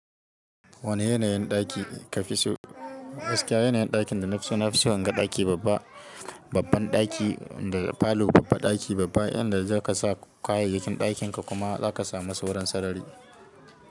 Wane yanayin ɗaki ka fi so? Gaskiya yanayin ɗakin da na fi so, na fi son gan ɗaki babba, babban ɗaki da falo babba, ɗaki babba inda zaka sa kayayyakin ɗakin ka kuma za ka samu sauran sarari.